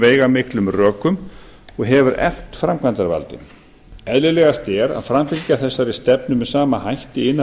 veigamiklum rökum og hefur eflt framkvæmdarvaldið eðlilegast er að framfylgja þessari stefnu með sama hætti innan